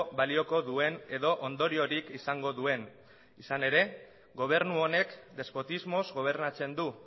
balioko duen edo ondoriorik izango duen izan ere gobernu honek despotismoz gobernatzen du